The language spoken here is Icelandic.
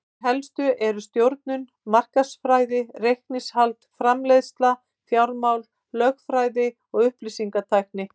Þær helstu eru stjórnun, markaðsfræði, reikningshald, framleiðsla, fjármál, lögfræði og upplýsingatækni.